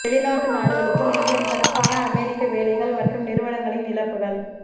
வெளிநாட்டு நாடுகளுக்கு மில்லியன் கணக்கான அமெரிக்க வேலைகள் மற்றும் நிறுவனங்களின் இழப்புகள்